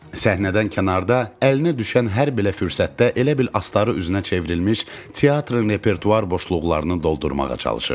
Səhnədən kənarda əlinə düşən hər belə fürsətdə elə bil astarı üzünə çevrilmiş teatrın repertuar boşluqlarını doldurmağa çalışırdı.